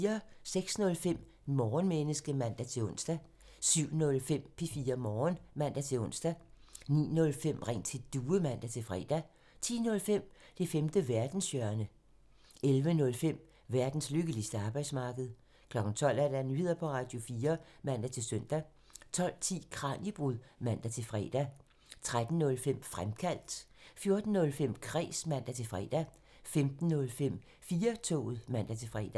06:05: Morgenmenneske (man-ons) 07:05: Radio4 Morgen (man-ons) 09:05: Ring til Due (man-fre) 10:05: Det femte verdenshjørne (man) 11:05: Verdens lykkeligste arbejdsmarked (man) 12:00: Nyheder på Radio4 (man-søn) 12:10: Kraniebrud (man-fre) 13:05: Fremkaldt (man) 14:05: Kræs (man-fre) 15:05: 4-toget (man-fre)